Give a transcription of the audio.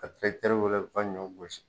Ka tirakitɛriw wele u ka ɲɔ gosi